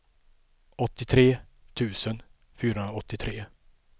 åttiotre tusen fyrahundraåttiotre